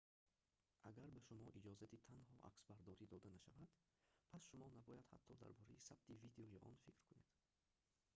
агар ба шумо иҷозати танҳо аксбардорӣ дода нашавад пас шумо набояд ҳатто дар бораи сабти видеои он фикр кунед